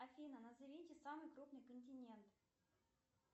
афина назовите самый крупный континент